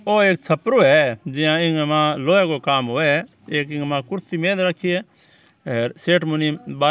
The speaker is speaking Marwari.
ओ एक छपरो है जिया इक मा लोहे को काम होए एक इक मा कुर्सी मेल राखी है हेर सेठ मुनीम बा--